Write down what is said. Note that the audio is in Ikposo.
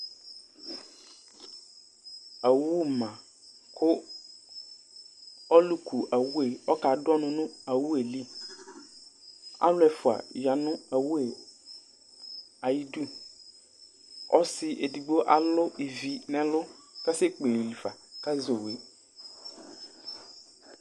awu ma , ku ɔlu ku awue ɔka du ɔnu nu awue li , alu ɛfua ya nu awue ayidu, ɔsi edigbo alu ivi nu ɛlu k'asɛ fa k'azɛ Owue